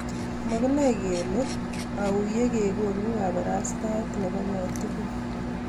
Makinae kelee auyoo yegekonuu kaparastaet nepo kotugul